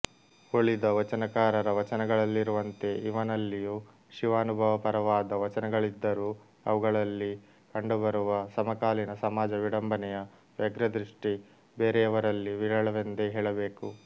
ಉಳಿದ ವಚನಕಾರರ ವಚನಗಳಲ್ಲಿರುವಂತೆ ಇವನಲ್ಲಿಯೂ ಶಿವಾನುಭವಪರವಾದ ವಚನಗಳಿದ್ದರೂ ಅವುಗಳಲ್ಲಿ ಕಂಡುಬರುವ ಸಮಕಾಲೀನ ಸಮಾಜ ವಿಡಂಬನೆಯ ವ್ಯಗ್ರದೃಷ್ಟಿ ಬೇರೆಯವರಲ್ಲಿ ವಿರಳವೆಂದೇ ಹೇಳಬೇಕು